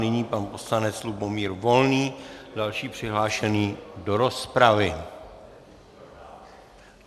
Nyní pan poslanec Lubomír Volný, další přihlášený do rozpravy.